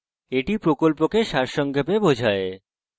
এটি কথ্য tutorial প্রকল্পকে সারসংক্ষেপে বোঝায়